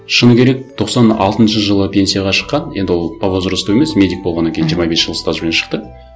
шыны керек тоқсан алтыншы жылы пенсияға шыққан енді ол по возрасту емес медик болғаннан кейін жиырма бес жыл стажбен шықты